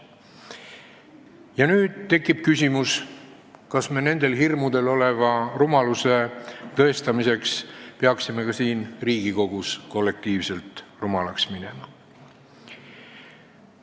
Ja nüüd tekib küsimus, kas me peaksime nendel hirmudel põhineva rumaluse tõestamiseks ka siin Riigikogus kollektiivselt rumalaks minema.